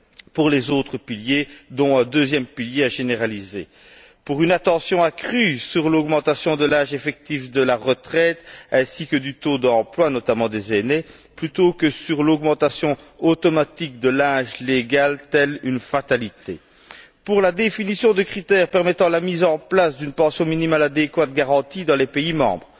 pour les autres piliers, dont un deuxième pilier à généraliser pour une attention accrue sur l'augmentation de l'âge effectif de la retraite ainsi que du taux d'emploi, notamment des aînés, plutôt que sur l'augmentation automatique de l'âge légal comme une fatalité pour la définition de critères permettant la mise en place d'une pension minimale adéquate garantie dans les pays membres